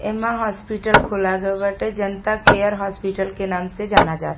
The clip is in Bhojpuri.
एमा हॉस्पिटल खोला गए बाटे। जनता केयर हॉस्पिटल के नाम से जाना जा --